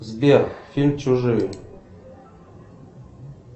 сбер фильм чужие